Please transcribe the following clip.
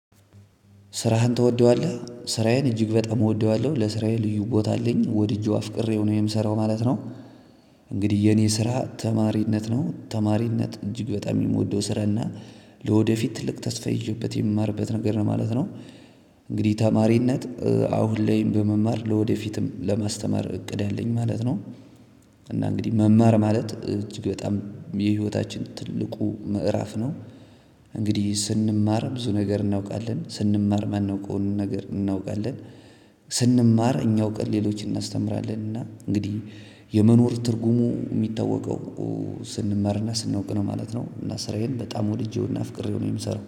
ስራህን ትወደዋለህ ስራዬን እጅግ በጣም እወደዋለሁ ለስራዬ ልዩ ቦታ አለኝ ወድጄው አፍቅሬው ነው የምሰራው ማለት ነው። እንግዲህ የኔ ስራ ተማሪነት ነው ተማሪነት እጅግ በጣም የምወደው ስራና ለወደፊት ትልቅ ተስፋ ይዤበት የምማርበት ነገር ነው ማለት ነው። እንግዲህ ተማሪነት አሁን ላይም በመማር ለወደፊትም ለማስተማር እቅድ አለኝ ማለት ነው። እና እንግዲህ መማር ማለት እጅግ በጣም የህይወታችን ትልቁ ምዕራፍ ነው። እንግዲህ ስንማር ብዙ ነገር እናውቃለን ስንማር እማናውቀውን ነገር እናውቃለን። ስንማር እኛ አውቀን ሌሎችን እናስተምራለን እና እንግዲህ። የመኖር ትርጉሙ የሚታወቀው ስንማርና ስንወቅ ነው ማለት ነው። እና ስራዬን በጣም ወድጄውና ፍቅሬው ነው የምሰራው